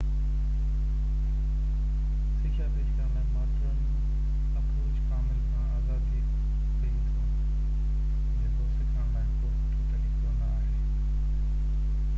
سکيا پيش ڪرڻ لاءِ ماڊرن اپروچ ڪامل کان آزادي ڏي ٿو جيڪو سکڻ لاءِ ڪو سٺو طريقو نہ آهي